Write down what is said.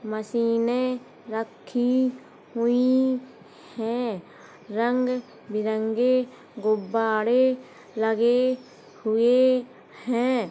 मशीने रखी हुए है। रंग बिरंगी गुबारें लगे हुए हैं।